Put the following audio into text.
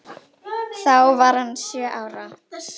Þá var hann sjö ára.